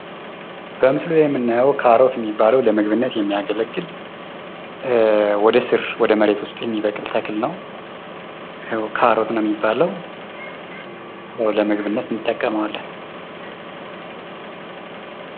በምስሉ ላይ የምናየው ካሮት የሚባል ለምግብነት የሚያገለግል ወደ ስር ወደ መሬት ውስጥ የሚበቅል ተክል ነው። ያው ካሮት ነው የሚባለው። ለምግብነት እንጠቀመዋለን።